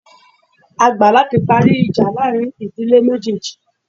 A gbà láti parí ìjà láàrin ìdílé méjéèjì